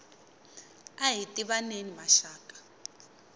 ahi tivaneni maxaka